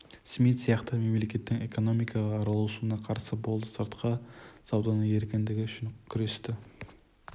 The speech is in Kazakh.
смит сияқты мемлекеттің экономикаға араласуына қарсы болды сыртқы сауданың еркіндігі үшін күресті